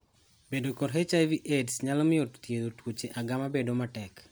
Bedo kod HIV/AIDS nyalo mioyo thiedho tuooche agama bedo matek.